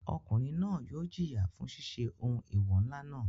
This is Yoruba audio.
Ọkùnrin náà yóò jìyà fún ṣiṣẹ́ ohun eewọ ńlá náà.